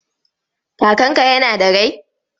Kakanka yana da rai?